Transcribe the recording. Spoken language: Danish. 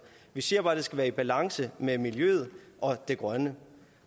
vi siger bare at det skal være i balance med miljøet og det grønne